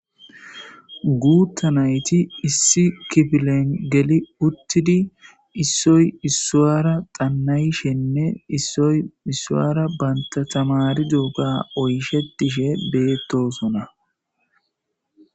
Gutha nayti issi kifilen geli utidi issoy issara xanayishenee issoy isara bata tamaridogo oyishetishe betosona